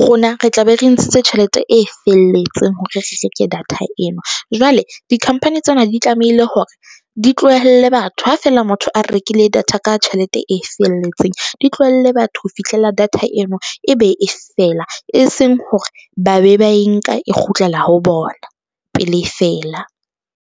rona re tla be re ntshitse tjhelete e felletseng hore re reke data eno jwale di-company tsena di tlamehile hore di tlohelle batho ha fela motho a rekile data ka tjhelete e felletseng. Di tlohelle batho ho fihlela data eno e be e fela, e seng hore ba be ba e nka e kgutlela ho bona pele e fela.